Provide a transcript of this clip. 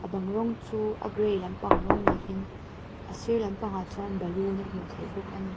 bang rawng chu a gray lampang rawng niin a sir lampang ah chuan balloon a hmuh theih bawk ani.